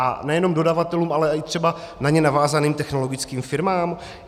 A nejenom dodavatelům, ale i třeba na ně navázaným technologickým firmám?